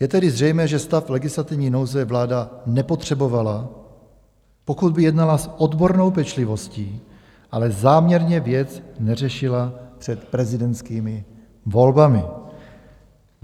Je tedy zřejmé, že stav legislativní nouze vláda nepotřebovala, pokud by jednala s odbornou pečlivostí, ale záměrně věc neřešila před prezidentskými volbami.